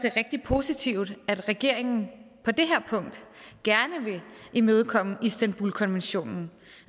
er rigtig positivt at regeringen på det her punkt gerne vil imødekomme istanbulkonventionen